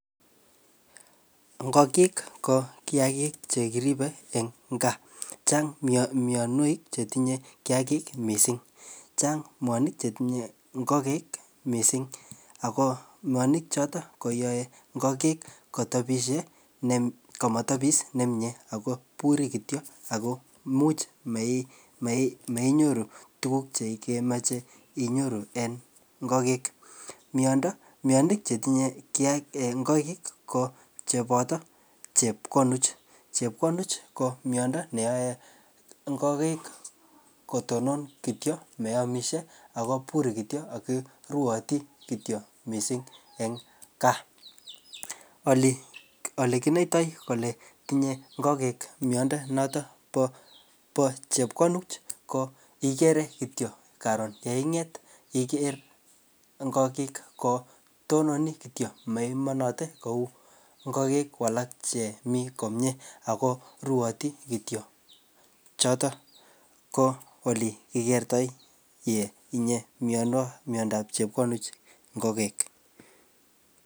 Ng'okik ko kiagik chekiribe en gaa, chang' mionwek chetinye kiagik missing, chang' mionwek chetinye ng'okik mising ako mionwek choton koyoe ng'okik komotebi nemie ako ibure kityo ako imuch moinyoru tuguk chekemoche inyoru en ng'okik, mionmwek chetinye ng'okik kobote chepkonuch, chepkonuch ko miondo neyoe ng'okik kotonon kityo moomisye, ibure kityo ako ruote kityo mising en gaa, olekinoite kole tinye ng'okik miondo noton nebo chepkonuch ii ko igere kityo karun yeing'eet igeer ng'okik ko tonone kityo moiyemote kou ng'okik alak chemi komyee ako ruote kityo, choton ko olekikerto kole tinye miondab chepkonuch ng'okik.